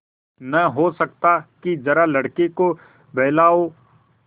नहीं हो सकता कि जरा लड़के को बहलाओ